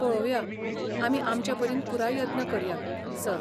पळोवया, आमी आमचे परीन पुराय यत्न करया, सर.